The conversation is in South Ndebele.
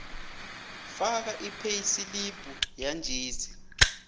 faka ipheyisilibhu yanjesi